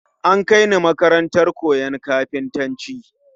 An Kai ni makarantar koyon kafintanci